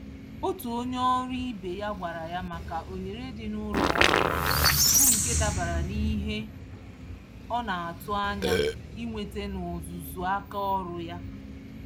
Otú onyé ọrụ ibe ya gwara ya maka ohere dị n'ụlọ ọrụ ha, bú nke dabara n'ihe ọnatụ̀ ányá ịnweta n'ọzụzụ àkà ọrụ ya